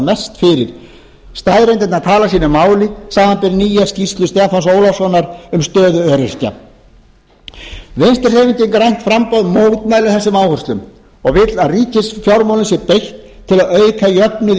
mest fyrir staðreyndirnar tala sínu máli samanber nýja skýrslu stefáns ólafssonar um stöðu öryrkja vinstri hreyfingin grænt framboð mótmælir þessum áherslum og vill að ríkisfjármálum sé beitt til að auka jöfnuð í